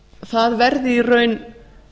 það verði í raun